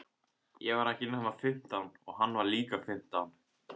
Ég var ekki nema fimmtán og hann var líka fimmtán.